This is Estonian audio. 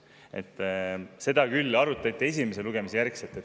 Kuid seda arutati küll pärast esimest lugemist.